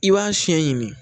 I b'a siɲɛ ɲini